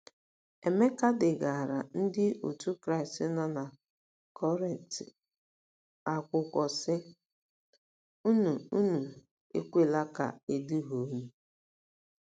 Emeka degaara Ndị Otú Kristi nọ na Kọrịnt akwụkwọ, sị: “ Unu Unu ekwela ka e duhie unu.